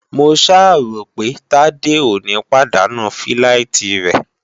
Mo ṣáà ròpé Tádé ò ní pàdánù fíláìtí rẹ̀?